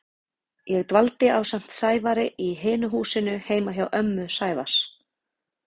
Ég dvaldi ásamt Sævari í hinu húsinu heima hjá ömmu Sævars.